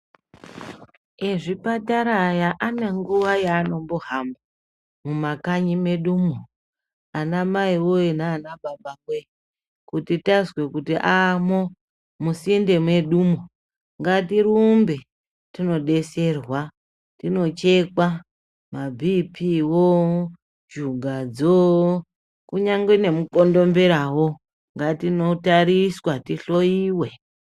Ezvipatara aya anenguva yaanombo hamba mumakanyi medumo ana maiwoye nana baba woye kuti tazwe kuti amwo musinde medumwo. Ngatirumbe tinobetserwa tinochekwa mabp wo-o, shugadzo kunyange nemu kondombera wo ngatinotariswa tihloiwe.